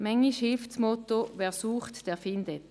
Bisweilen hilft das Motto «Wer sucht, der findet».